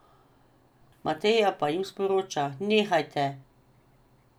Mateja pa jim sporoča: "Nehajte.